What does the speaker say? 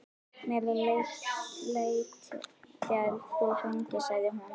Mér létti þegar þú hringdir, sagði hún.